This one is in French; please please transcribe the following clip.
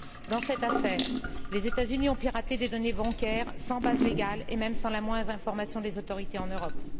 Dans cette affaire, les États Unis ont piraté des données bancaires, sans base légale, et même sans la moindre information des autorités en Europe.